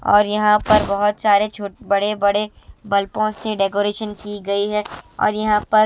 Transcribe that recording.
और यहां पर बहुत सारे छोटे-बड़े बल्पों से डेकोरेशन की गई है और यहां पर --